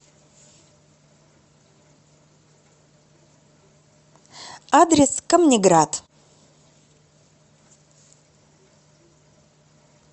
адрес камнеград